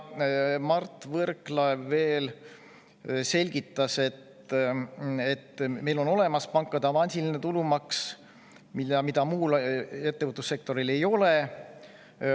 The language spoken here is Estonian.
Mart Võrklaev selgitas veel, et meil on olemas pankade avansiline tulumaks, mida muul ettevõtlussektoril ei ole.